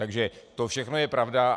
Takže to všechno je pravda.